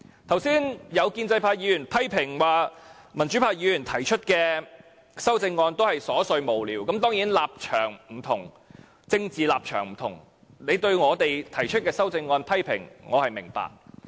剛才有建制派議員批評指，民主派議員提出的修正案都是瑣碎無聊，當然，大家政治立場不同，你對我們提出的修正案作出批評，我是明白的。